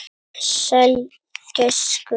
Sæll gæskur.